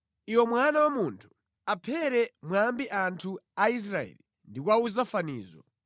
“Iwe mwana wa munthu, aphere mwambi anthu a Israeli ndi kuwawuza fanizo.